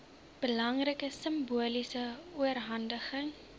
belangrike simboliese oorhandiging